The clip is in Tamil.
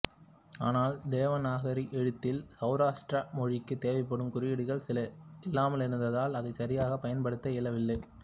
ஆனால் தேவநாகரி எழுத்தில் சௌராஷ்டிர மொழிக்கு தேவைப்படும் குறியீடுகள் சில இல்லாமலிருந்ததால் அதை சரியாக பயன்படுத்த இயலவில்லை